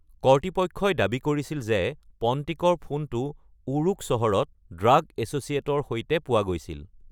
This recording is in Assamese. কৰ্তৃপক্ষই দাবী কৰিছিল যে পণ্টিকৰ ফোনটো ৱুৰুক চহৰত "ড্ৰাগ এছ'চিয়েট"ৰ সৈতে পোৱা গৈছিল।